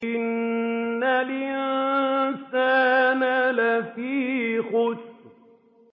إِنَّ الْإِنسَانَ لَفِي خُسْرٍ